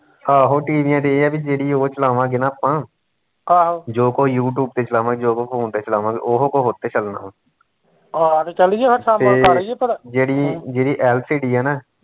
ਆਹੋ ਟੀਵੀਆ ਤੇ ਇਹ ਆ ਵੀ ਜਿਹੜੀ ਓਹ ਚਲਾਵਾਂਗੇ ਨਾ ਆਪਾਂ ਜੋ ਕੁਸ਼ ਯੂਟਿਊਬ ਤੇ ਚਲਾਵਾਂਗੇ ਜੋ ਕੁਸ਼ phone ਤੇ ਚਲਾਵਾਂਗੇ ਉਹੋ ਕੁਸ਼ ਉਸਤੇ ਚੱਲਨਾ ਫਿਰ ਤੇ ਜਿਹੜੀ ਜਿਹੜੀ LCD ਆ ਨਾ